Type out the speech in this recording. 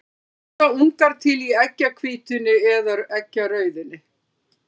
Hvort verða ungar til í eggjahvítunni eða eggjarauðunni?